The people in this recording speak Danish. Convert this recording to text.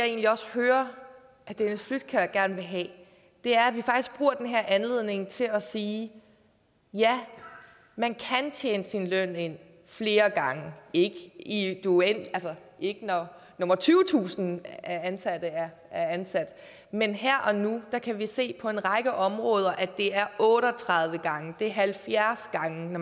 egentlig også hører herre dennis flydtkjær gerne vil have er at vi faktisk bruger den her anledning til at sige ja man kan tjene sin løn ind flere gange ikke i det uendelige ikke når nummer tyvetusind er ansat men her og nu kan vi se på en række områder at det er otte og tredive gange det er halvfjerds gange